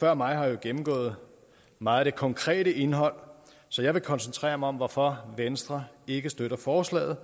før mig har jo gennemgået meget af det konkrete indhold så jeg vil koncentrere mig om hvorfor venstre ikke støtter forslaget